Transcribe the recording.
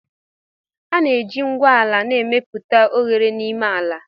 A na-eji ngwu ala na-emepụta oghere n'ime ala